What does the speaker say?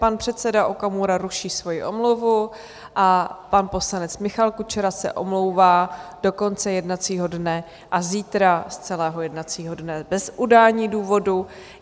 Pan předseda Okamura ruší svoji omluvu a pan poslanec Michal Kučera se omlouvá do konce jednacího dne a zítra z celého jednacího dne bez udání důvodu.